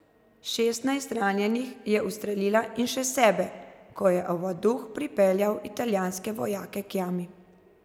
Šestnajst ranjenih je ustrelila in še sebe, ko je ovaduh pripeljal italijanske vojake k jami.